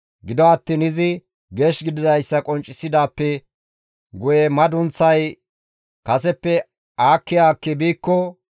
Gido attiin izi geesh gididayssa qonccisidaappe guye madunththay kaseppe aakki aakki biikko,